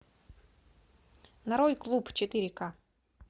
нарой клуб четыре ка